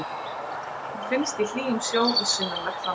Hann finnst í hlýjum sjó við sunnanvert landið.